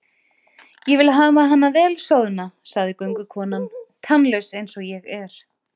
Ég vil hafa hana vel soðna, sagði göngukonan, tannlaus eins og ég er.